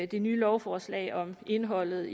det nye lovforslag om indholdet